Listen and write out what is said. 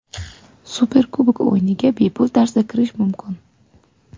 Superkubok o‘yiniga bepul tarzda kirish mumkin.